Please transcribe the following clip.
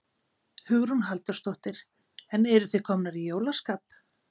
Hugrún Halldórsdóttir: En eruð þið komnar í jólaskap?